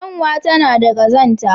Kyanwa tana da ƙazanta.